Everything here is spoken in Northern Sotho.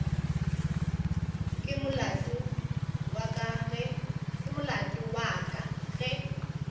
ke molato wa ka ge